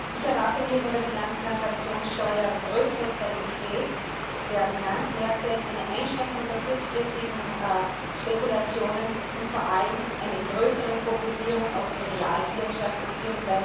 Ich erwarte mir von der Finanztransaktionssteuer größere Stabilität der Finanzmärkte, eine Einschränkung der kurzfristigen Spekulationen und vor allem eine größere Fokussierung auf die Realwirtschaft bzw.